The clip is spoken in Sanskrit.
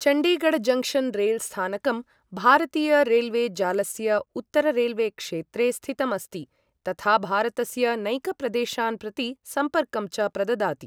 चण्डीगढ जङ्क्शन् रेलस्थानकं भारतीय रेलवे जालस्य उत्तररेलवेक्षेत्रे स्थितम् अस्ति तथा भारतस्य नैकप्रदेशान् प्रति सम्पर्कं च प्रददाति।